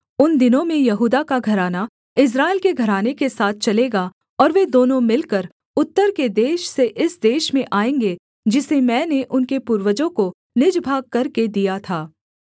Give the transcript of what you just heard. उन दिनों में यहूदा का घराना इस्राएल के घराने के साथ चलेगा और वे दोनों मिलकर उत्तर के देश से इस देश में आएँगे जिसे मैंने उनके पूर्वजों को निज भाग करके दिया था